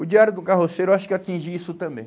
O Diário de um Carroceiro, eu acho que atingi isso também.